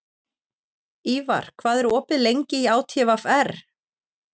Ívar, hvað er opið lengi í ÁTVR?